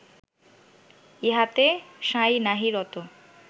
ইহাতে সাঁই নাহি রত